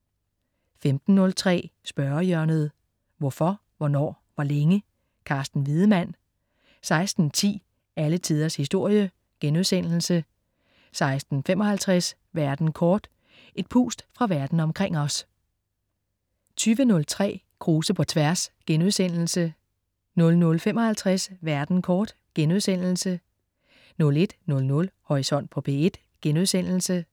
15.03 Spørgehjørnet. Hvorfor, hvornår, hvor længe? Carsten Wiedemann 16.10 Alle tiders historie* 16.55 Verden kort. Et pust fra verden omkring os 20.03 Krause på tværs* 00.55 Verden kort* 01.00 Horisont på P1*